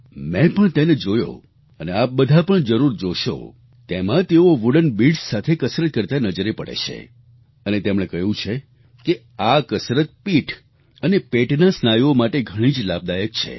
મેં પણ તેને જોયો અને આપ બધા પણ જરૂર જોશો તેમાં તેઓ વુડન બીડ્સ સાથે કસરત કરતા નજરે પડે છે અને તેમણે કહ્યું છે કે આ કસરત પીઠ અને પેટના સ્નાયુઓ માટે ઘણી જ લાભદાયક છે